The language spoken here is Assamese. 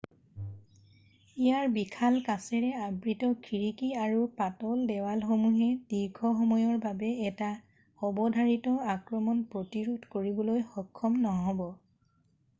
ইয়াৰ বিশাল কাচেৰে আবৃত খিৰিকী আৰু পাতল দেৱালসমূহে দীৰ্ঘসময়ৰ বাবে এটা অৱধাৰিত আক্ৰমণ প্ৰতিৰোধ কৰিবলৈ সক্ষম নহ'ব